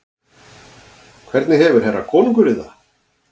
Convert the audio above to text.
Hvernig hefur herra konungurinn það?